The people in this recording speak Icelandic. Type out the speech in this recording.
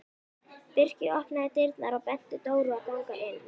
Birkir opnaði dyrnar og benti Dóru að ganga inn.